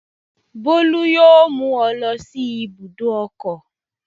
Bólú yóò mú ọ lọ sí ibùdó ọkọ̀.